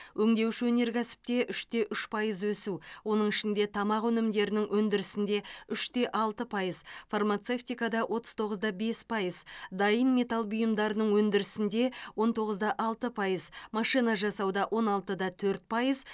өңдеуші өнеркәсіпте үш те үш пайыз өсу оның ішінде тамақ өнімдерінің өндірісінде үш те алты пайыз фармацевтикада отыз тоғыз да бес пайыз дайын металл бұйымдарының өндірісінде он тоғыз да алты пайыз машина жасауда он алты да төрт пайыз